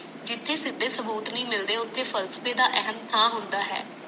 ਜਿਤੇ ਸਿੱਧੇ ਸਬੂਤ ਨਹੀਂ ਮਿਲਦੇ ਉਤੇ ਫਾਸਲਵੇ ਦਾ ਅਹਮ ਸਥਾਨ ਹੁੰਦਾ ਹੈ